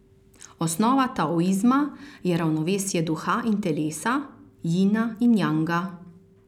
Osnova taoizma je ravnovesje duha in telesa, jina in janga.